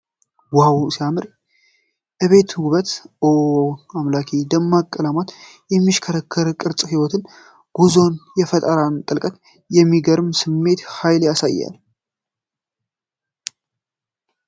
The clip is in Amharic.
ዋው! ሲያምር! አቤት የጥበብ ውበት! ኦ አምላኬ! ደማቅ ቀለማትና የሽክርክሪት ቅርፅ የህይወትን ጉዞና የፈጠራን ጥልቀት በሚገርም ስሜትና ኃይል ያሳያሉ ።